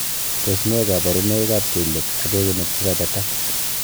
Tos nee koborunoikab kelyek ok eunek chekabetak?